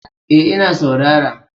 Eh ina saurara